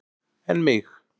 En mig.